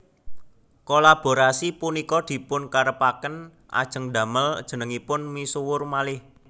Kolaborasi punika dipun karepaken ajeng ndamel jenengipun misuwur malih